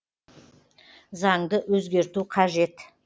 заңды өзгерту қажет